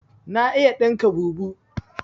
Na iya ɗinka bubu